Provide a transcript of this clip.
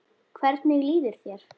Hvernig líður þér?